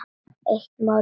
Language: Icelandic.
Eitt mál í einu.